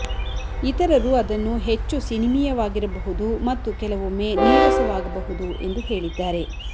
ಇತರರು ಅದನ್ನು ಹೆಚ್ಚು ಸಿನಿಮೀಯವಾಗಿರಬಹುದು ಮತ್ತು ಕೆಲವೊಮ್ಮೆ ನೀರಸವಾಗಬಹುದು ಎಂದು ಹೇಳಿದ್ದಾರೆ